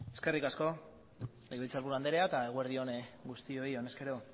eskerrik asko legebiltzarburu andrea eta eguerdi on guztioi honez gero